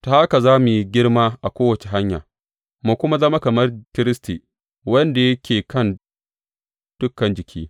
Ta haka za mu yi girma a kowace hanya, mu kuma zama kamar Kiristi, wanda yake kan dukan jiki.